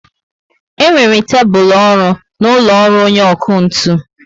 E nwere tébulu ọrụ na úlọ ọrụ onye ọkụ ntụ